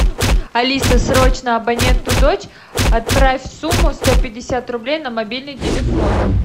алиса срочно абоненту дочь отправь сумму сто пятьдесят рублей на мобильный телефон